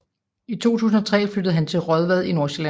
I 2003 flyttede han til Raadvad i Nordsjælland